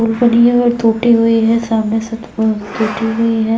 पुल बनी हुई है और टूटी हुई है सामने से टूटी हुई है।